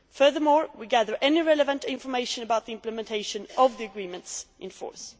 Furthermore, we gather any relevant information about the implementation of the agreements in